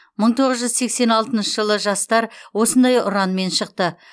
мың тоғыз жүз сексен алтыншы жылы жастар осындай ұранмен шықты